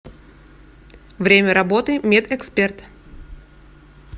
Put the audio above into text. время работы мед эксперт